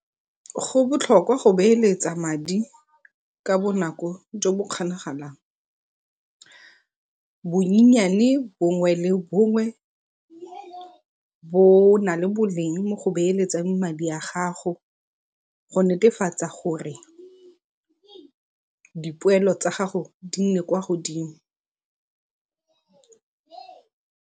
Go botlhokwa go beeletsa madi ka bonako jo bo kgonagalang. Bonnyane bongwe le bongwe bo na le boleng mo go beeletsang madi a gago go netefatsa gore dipoelo tsa gago di nne kwa godimo.